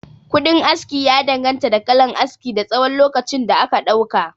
Kuɗin aski ya danganta da kalan aski, da tsawon lokacin da aka ɗauka